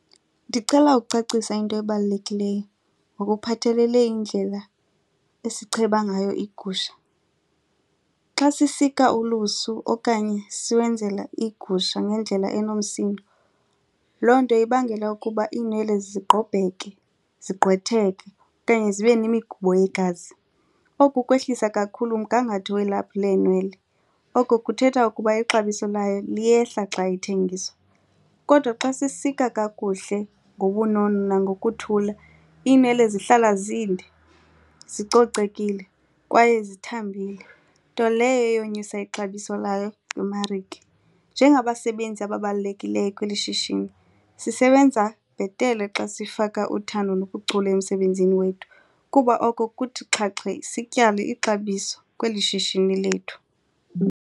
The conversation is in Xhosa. Ndicela ukucacisa into ebalulekileyo ngokuphathelele indlela esicheba ngayo iigusha. Xa sisika ulusu okanye siwenzela igusha ngendlela enomsindo loo nto ibangela ukuba iinwele zigqobheke, zigqwetheke okanye zibe nemigubo yegazi. Oku kwehlisa kakhulu umgangatho welaphu leenwele. Oko kuthetha ukuba ixabiso layo liyehla xa ithengiswa. Kodwa xa sisika kakuhle ngobunono nangokuthula iinwele zihlala zinde zicocekile kwaye zithambile nto leyo eyonyusa ixabiso layo kwimarike. Njengabasebenzi ababalulekileyo kweli shishini sisebenza bhetele xa sifaka uthando nobuchule emsebenzini wethu kuba oko kuthi xhaxhe sityale ixabiso kweli shishini lethu.